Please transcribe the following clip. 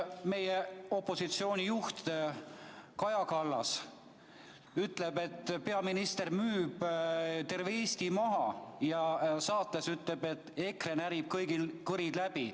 Meie opositsiooni juht Kaja Kallas ütleb, et peaminister müüb terve Eesti maha, ja ütleb saates, et EKRE närib kõigil kõrid läbi.